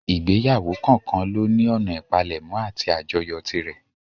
Ìgbéyàwó kọ̀ọ́kan lóní ọ̀nà ìpalẹ̀mọ́ àti àjọyọ̀ tirẹ̀.